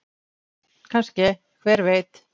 Kannske- hver veit?